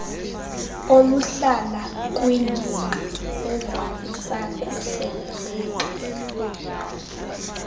oluhlala kwiingingqi ezazisakuhleleleka